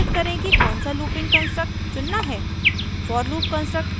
हम कैसे निर्धारित करें कि कौनसा लूपिंग कन्स्ट्रक्ट चुनना है